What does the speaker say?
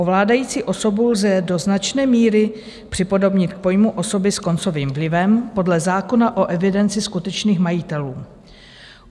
Ovládající osobu lze do značné míry připodobnit k pojmu osoby s koncovým vlivem podle zákona o evidenci skutečných majitelů.